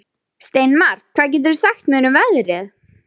Steinmar, hvað geturðu sagt mér um veðrið?